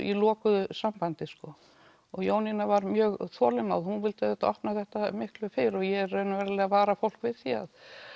í lokuðu sambandi og Jónína var mjög þolinmóð en hún vildi auðvitað opna þetta miklu fyrr og ég raunverulega vara fólk við því